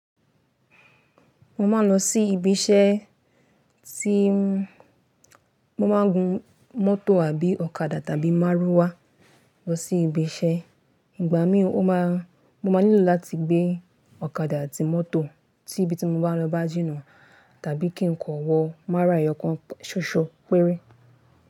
Mo máa ń lọ sí ibi iṣẹ́, tí mo máa ń gun mọ́tò àbí ọ̀kadà tàbí márúwá lọ sí ibi iṣẹ́. Ìgbà mìíràn mo máa nílò láti gbé ọ̀kadà àti mọ́tò tí ibi tí mo bá ń lọ bá jìnnà tàbí kí n kọ̀wọ́ márúwá ẹyọ̀kan ṣoṣo péré.